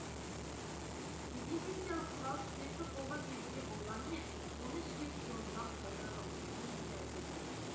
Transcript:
дезинфекциялық құрал спиртті қолға себуге болғанымен оны ішке тұтынудан пайда жоқ дейді дәрігерлер